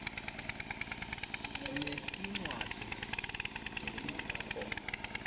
sinetircwadzi tetinkhorbco